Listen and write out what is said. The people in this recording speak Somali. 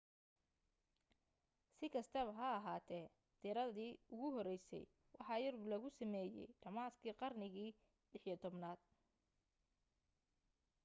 si kastaba ha ahaatee diiradii ugu horeysay waxa yurub lagu sameeyay dhammaadkii qarnigii 16aad